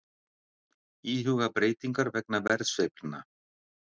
Íhuga breytingar vegna verðsveiflna